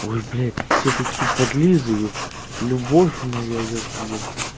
ой блять всё-таки подлизы епт любовь моя еп еп